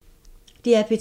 DR P2